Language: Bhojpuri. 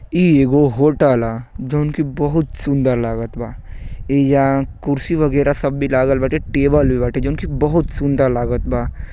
ई एगो होटल ह जोन कि बहुत सुंदर लागत बा। एइजा कुर्सी वगैरा सब बी लागल बाटे। टेबल भी बाटे जोन कि बहुत सुंदर लागत बा।